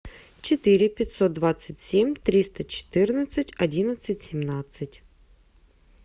четыре пятьсот двадцать семь триста четырнадцать одиннадцать семнадцать